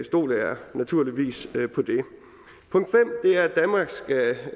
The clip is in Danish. stoler jeg naturligvis på